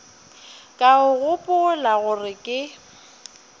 ka o gopola gore ke